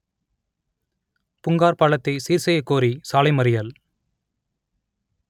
புங்கார் பாலத்தை சீர்செய்யக் கோரி சாலை மறியல்